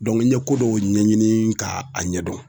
Dɔnku n ye ko dɔw ɲɛɲini k'a ɲɛdɔn